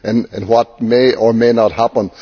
as to what may or may not happen.